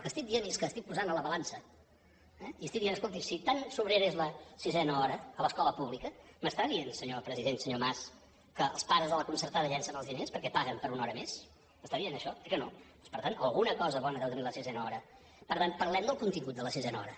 el que estic dient és que estic posant a la balança eh i estic dient escolti si tant sobrera és la sisena hora a l’escola pública m’està dient senyor president senyor mas que els pares de la concertada llencen els diners perquè paguen per una hora més m’està dient això eh que no doncs per tant alguna cosa bona deu tenir la sisena hora per tant parlem del contingut de la sisena hora